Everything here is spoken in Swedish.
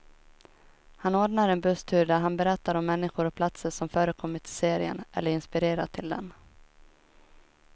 Han ordnar en busstur där han berättar om människor och platser som förekommit i serien, eller inspirerat till den.